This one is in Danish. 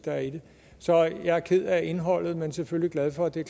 er i det så jeg er ked af indholdet men selvfølgelig glad for at det er